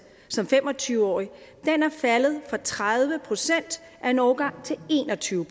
som fem og tyve årig faldet fra tredive procent af en årgang til en og tyve